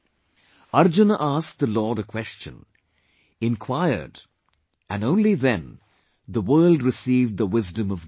Arjuna asked the Lord a question, inquired and only then, the world received the wisdom of Gita